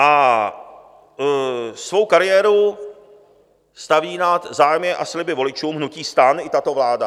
A svou kariéru staví nad zájmy a sliby voličům hnutí STAN i tato vláda.